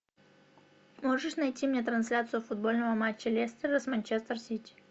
можешь найти мне трансляцию футбольного матча лестера с манчестер сити